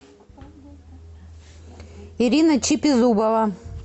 ирина чипизубова